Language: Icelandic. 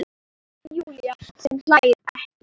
Júlía sem hlær ekki.